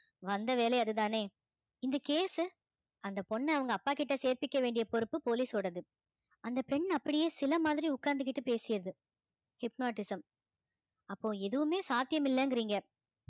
வந்த வேலை அதுதானே இந்த case உ அந்த பொண்ண அவங்க அப்பாகிட்ட சேர்த்துக்க வேண்டிய பொறுப்பு police ஓடது அந்த பெண் அப்படியே சிலை மாதிரி உட்கார்ந்துகிட்டு பேசியது hypnotism அப்போ எதுவுமே சாத்தியம் இல்லைங்கிறீங்க